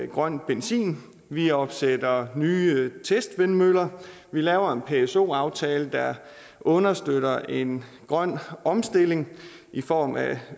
grøn benzin vi opsætter nye testvindmøller vi laver en pso aftale der understøtter en grøn omstilling i form af